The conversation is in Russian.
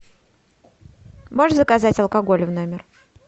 можешь заказать алкоголь в номер